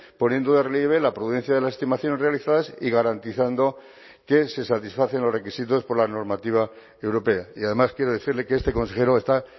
poniendo de relieve la prudencia de las estimaciones realizadas y garantizando que se satisfacen los requisitos por la normativa europea y además quiero decirle que este consejero está